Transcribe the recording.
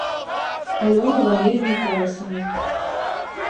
алене валерьевне колосовой